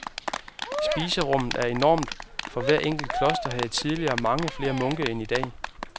Spiserummet er enormt, for hvert kloster havde tidligere mange flere munke end i dag.